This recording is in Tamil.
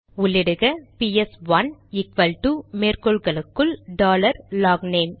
உள்ளிடுக பிஎஸ்1 ஈக்வல்டு மேற்கோள்களுக்குள் டாலர் லாக்னேம்